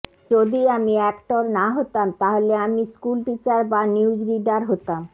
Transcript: যদি আমি অ্যাক্টর না হতাম তাহলে আমি স্কুল টিচার বা নিউজ রিডার হতাম